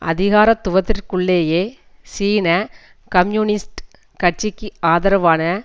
அதிகாரத்துவத்திற்குள்ளேயே சீன கம்யூனிஸ்ட் கட்சிக்கு ஆதரவான